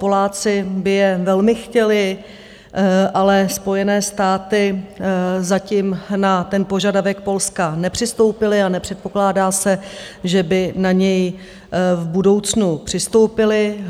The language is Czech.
Poláci by je velmi chtěli, ale Spojené státy zatím na ten požadavek Polska nepřistoupili a nepředpokládá se, že by na něj v budoucnu přistoupili.